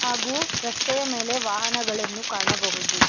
ಹಾಗು ರಸ್ತೆಯ ಮೇಲೆ ವಾಹನಗಳನ್ನು ಕಾಣಬಹುದು.